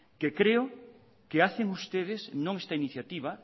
que creo que hacen ustedes no en esta iniciativa